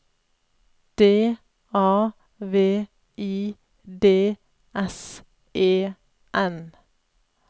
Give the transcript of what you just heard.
D A V I D S E N